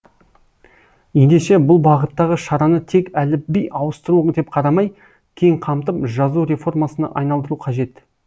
ендеше бұл бағыттағы шараны тек әліпби ауыстыру деп қарамай кең қамтып жазу реформасына айналдыру қажет